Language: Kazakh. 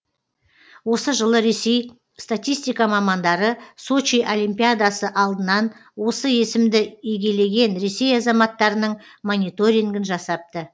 осы жылы ресей статистика мамандары сочи олимпиадасы алдынан осы есімді егелеген ресей азаматтарының мониторингін жасапты